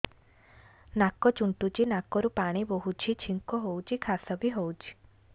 ନାକ ଚୁଣ୍ଟୁଚି ନାକରୁ ପାଣି ବହୁଛି ଛିଙ୍କ ହଉଚି ଖାସ ବି ହଉଚି